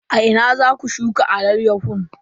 A ina za ku shuka alayyahun?